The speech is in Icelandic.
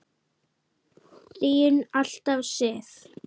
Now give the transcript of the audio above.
Þín alltaf, Sif.